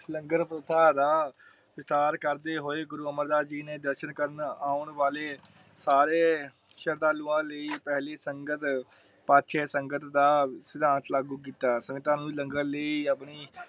ਲੰਗਰ ਪ੍ਰਥਾ ਦਾ ਵਿਚਾਰ ਕਰਦੇ ਹੋਏ । ਗੁਰੂ ਅਮਰ ਦਾਸ ਜੀ ਨੇ ਦਰਸ਼ਨ ਕਰਨ ਆਉਣ ਵਾਲੇ ਸਾਰੇ ਸਰਧਾਲੂਆ ਲਾਇ ਪਹਿਲੀ ਸੰਗਤ ਪਾਛੇ ਸੰਗਤ ਦਾ ਸਿਧਾਂਤਹ ਲਾਗੂ ਕੀਤਾ। ਸ਼ਰਧਾਲੂਆਂ ਨੂੰ ਲੰਗਰ ਲਈ